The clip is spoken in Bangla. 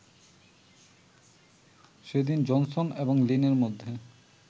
সেদিন জনসন এবং লিনের মধ্যে